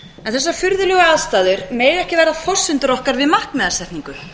en þessar furðulegu aðstæður mega ekki vera forsendur okkar við markmiðasetningu